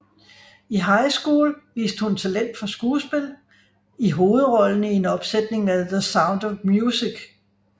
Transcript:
I high school viste hun talent for skuespil i hovedrollen i en opsætning af The Sound of Music